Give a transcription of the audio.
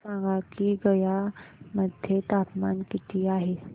मला सांगा की गया मध्ये तापमान किती आहे